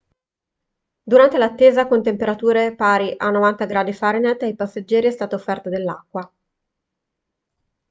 durante l'attesa con temperature pari a 90 °f ai passeggeri è stata offerta dell'acqua